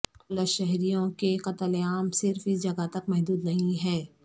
polish شہریوں کے قتل عام صرف اس جگہ تک محدود نہیں ہے